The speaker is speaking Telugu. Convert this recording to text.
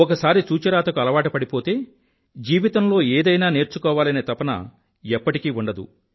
ఒకసారి చూచిరాతకు అలవాటు పడిపోతే జీవితంలో ఏదైనా నేర్చుకోవాలనే తపన ఎప్పటికీ ఉండదు